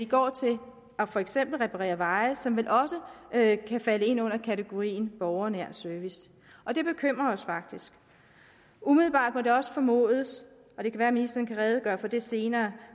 går til for eksempel at reparere veje som vel også kan falde ind under kategorien borgernær service og det bekymrer os faktisk umiddelbart må det også formodes og det kan være at ministeren kan redegøre for det senere